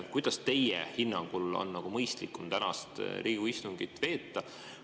Kuidas teie hinnangul on mõistlikum tänast Riigikogu istungit veeta?